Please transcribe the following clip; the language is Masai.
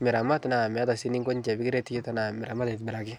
miramat naa meata sii neko ninche pikiret tana miramat atibiraki.